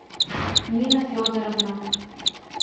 нина федоровна